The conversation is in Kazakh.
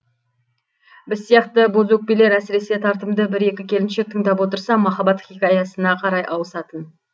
біз сияқты бозөкпелер әсіресе тартымды бір екі келіншек тыңдап отырса махаббат хикаясына қарай ауысатын